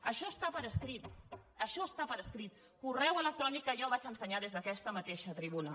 això està per escrit això està per escrit correu electrònic que jo vaig ensenyar des d’aquesta mateixa tribuna